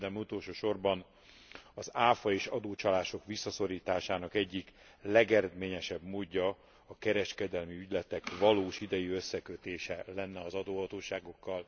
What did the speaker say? Végül, de nem utolsó sorban az ÁFA és adócsalások visszaszorításának egyik legeredményesebb módja a kereskedelmi ügyletek valós idejű összekötése lenne az adóhatóságokkal.